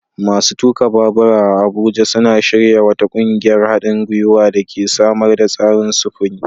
Masu tuka babura a Abuja suna shirya wata ƙungiyar haɗin guiwa da ke samar da tsarin sufuri.